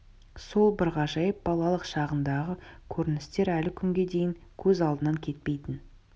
сол бір ғажайып балалық шағындағы көріністер әлі күнге дейін көз алдынан кетпейтін